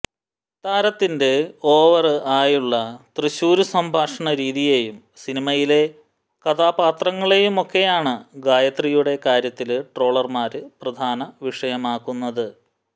താരത്തിന്റെ ഓവര് ആയുള്ള തൃശൂര് സംഭാഷണ രീതിയേയും സിനിമയിലെ കഥാപാത്രങ്ങളെയുമൊക്കെയാണ് ഗായത്രിയുടെ കാര്യത്തില് ട്രോളര്മാര് പ്രധാന വിഷയമാക്കുന്നത്